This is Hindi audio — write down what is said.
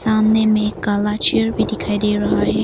सामने में काला चेयर भी दिखाई दे रहा है।